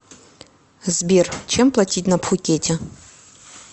сбер чем платить на пхукете